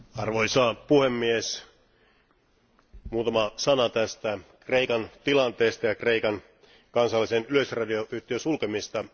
Arvoisa puhemies, muutama sana tästä Kreikan tilanteesta ja Kreikan kansallisen yleisradioyhtiön sulkemisesta.